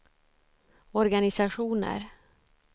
organisationer